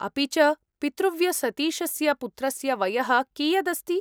अपि च, पितृव्यसतीशस्य पुत्रस्य वयः कियत् अस्ति ?